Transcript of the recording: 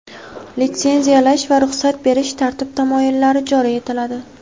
litsenziyalash va ruxsat berish tartib-taomillari joriy etiladi.